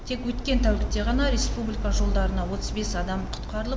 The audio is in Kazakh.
тек өткен тәулікте ғана республика жолдарында отыз бес адам құтқарылып